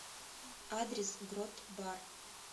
адрес грот бар